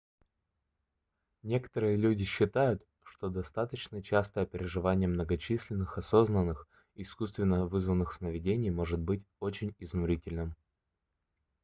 некоторые люди считают что достаточно частое переживание многочисленных осознанных искусственно вызванных сновидений может быть очень изнурительным